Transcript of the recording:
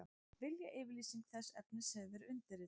Viljayfirlýsing þess efnis hefur verið undirrituð